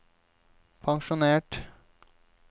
pensjonert